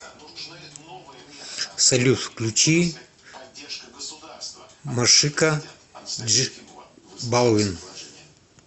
салют включи машика дж балвин